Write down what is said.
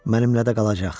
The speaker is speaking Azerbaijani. Mənimlə də qalacaq.